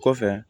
Kɔfɛ